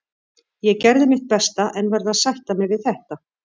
Ég gerði mitt besta en verð að sætta mig við þetta.